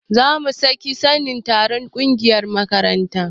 Zamu sake wani taron a ƙungiyar mata